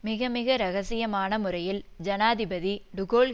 மிக மிக இரகசியமான முறையில் ஜனாதிபதி டு கோல்